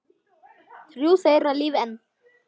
Þrjú þeirra lifa enn.